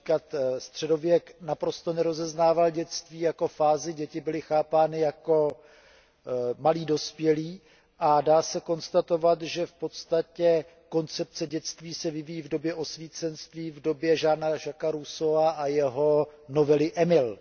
Například středověk naprosto nerozeznával dětství jako fázi, děti byly chápány jako malí dospělí a dá se konstatovat, že v podstatě koncepce dětství se vyvíjí v době osvícenství, v době Jeana Jacquese Rousseaua a jeho novely Emil.